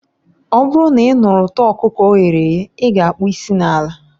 Ọ bụrụ na ị nụrụ ụtọ ọkụkọ o ghere eghe, ị ga-akpo isi n'ala